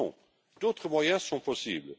Non, d'autres moyens sont possibles.